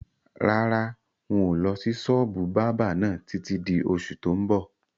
Rárá, ń ó lọ sí sọ́ọ́bù báábà náà títí di oṣù tó ń bọ̀